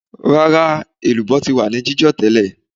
Rárá, elubo ti wà ní jijo tẹ́lẹ̀